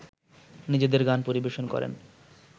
নিজেদের গান পরিবেশন করেন